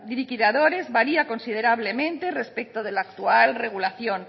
liquidadores varía considerablemente respecto de la actual regulación